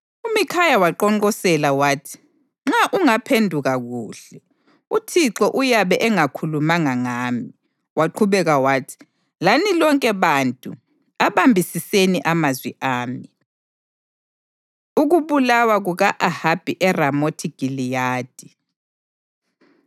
UMikhaya waqonqosela wathi: “Nxa ungaphenduka kuhle, uThixo uyabe engakhulumanga ngami.” Waqhubeka wathi, “Lani lonke bantu abambisiseni amazwi ami!” Ukubulawa Kuka-Ahabi ERamothi Giliyadi